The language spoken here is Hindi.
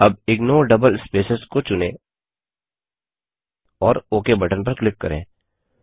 अब इग्नोर डबल स्पेसेज को चुनें और ओक बटन पर क्लिक करें